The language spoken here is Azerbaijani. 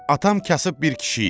Atam kasıb bir kişi idi.